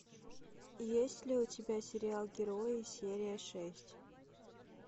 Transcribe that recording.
есть ли у тебя сериал герои серия шесть